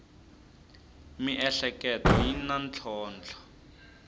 miehleketo yi na ntlhontlho